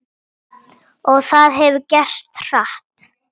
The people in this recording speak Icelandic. Og það hefur gerst hratt.